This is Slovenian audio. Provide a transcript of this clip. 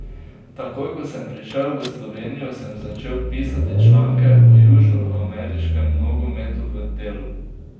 Takoj ko sem prišel v Slovenijo, sem začel pisati članke o južnoameriškem nogometu v Delu.